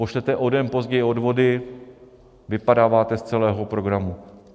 Pošlete o den později odvody, vypadáváte z celého programu.